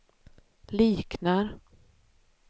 liknar